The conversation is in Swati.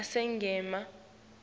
asengimane